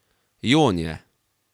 Jon je.